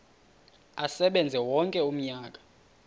asebenze wonke umnyaka